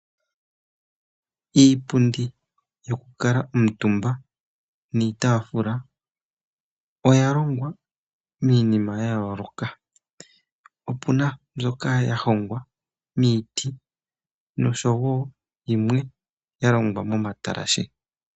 Iipundi yokukala omutumba niitafula oya longa miinima ya yooloka. Opu na mbyoka ya hongwa miiti noshowo yimwe ya longwa momatalashe.